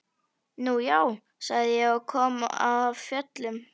Nú já, sagði ég og kom af fjöllum.